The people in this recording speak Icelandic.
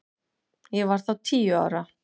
Ég var þá tíu ára.